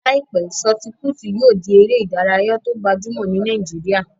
Láìpẹ́, sọọti-pútù yóò di eré ìdárayá tó gbajúmọ̀ ní Nàìjíríyà